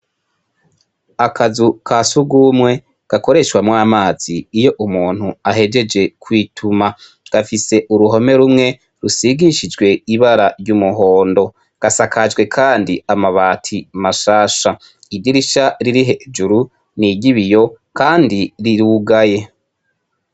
Akazu ka sugumwe gakoreshamwo amazi iyo umuntu ahejeje kwituma, gafise uruhome rumwe rusigishijwe ibara ry'umuhondo, gasakajwe kandi amabati mashasha, idirisha ririhejuru n'iry' ibiyo kandi rirugaye.